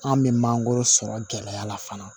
An bɛ mangoro sɔrɔ gɛlɛya la fana